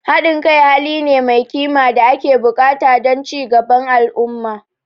Haɗin kai hali ne mai kima da ake buƙata don ci gaban al'umma.